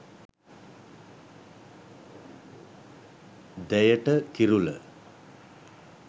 deyata kirula